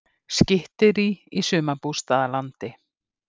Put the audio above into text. Skytterí í sumarbústaðalandi